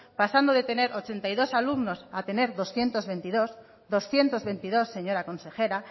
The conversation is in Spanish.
pasando de tener ochenta y dos alumnos a tener doscientos veintidós doscientos veintidós señora consejera